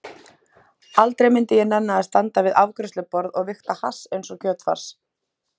Aldrei myndi ég nenna að standa við afgreiðsluborð og vigta hass einsog kjötfars.